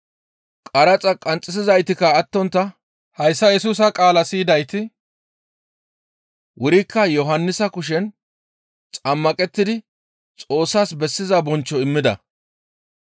Qaraxa qanxxisizaytikka attontta hayssa Yesusa qaala siyidayti wurikka Yohannisa kushen xammaqettidi Xoossas bessiza bonchcho immida.